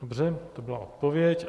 Dobře, to byla odpověď.